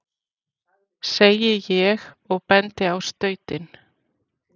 segi ég og bendi á stautinn.